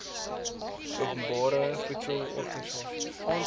openbare voordele organisasies